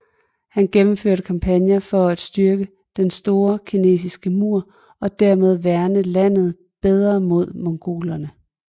Han gennemførte kampagner for at styrke Den store kinesiske mur og dermed værne landet bedre mod mongolerne